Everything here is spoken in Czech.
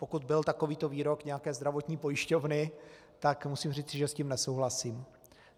Pokud byl takovýto výrok nějaké zdravotní pojišťovny, tak musím říci, že s tím nesouhlasím.